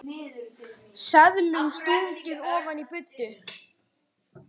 Hún var mér afar erfið.